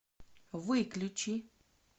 выключи